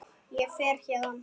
Ég fer héðan.